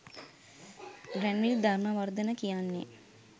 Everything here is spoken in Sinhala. ග්‍රැන්විල් ධර්මවර්ධන කියන්නේ